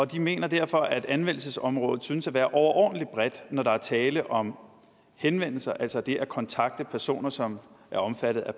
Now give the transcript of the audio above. de mener derfor at anvendelsesområdet synes at være overordentlig bredt når der er tale om henvendelser altså det at kontakte personer som er omfattet af